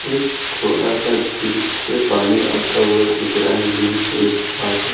एक छोटा सा झील से पानी आता हुआ दिख रहा है झील के उस पार है।